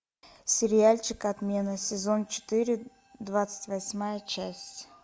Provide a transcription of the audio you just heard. сериальчик отмена сезон четыре двадцать восьмая часть